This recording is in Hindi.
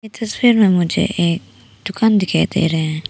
तस्वीर में मुझे एक दुकान दिखाई दे रहे हैं।